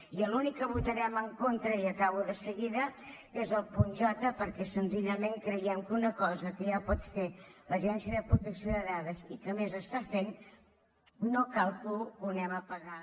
i l’únic que votarem en contra i acabo de seguida és el punt j perquè senzillament creiem que una cosa que ja pot fer l’agència de protecció de dades i que a més està fent no cal que l’anem a pagar